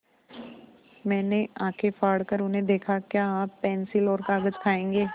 मैंने आँखें फाड़ कर उन्हें देखा क्या आप पेन्सिल और कागज़ खाएँगे